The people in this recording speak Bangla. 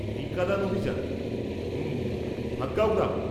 টিকাদান অভিযান, হুম, ভাদগাঁও গ্রাম।